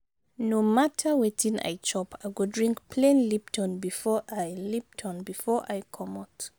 no mata wetin i chop i go drink plain lipton before i lipton before i comot.